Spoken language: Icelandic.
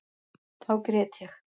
Þá grét ég.